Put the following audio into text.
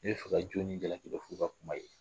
Ni bɛ fɛ ka jɔni ni jalaki dɔn f'i ka kuma ye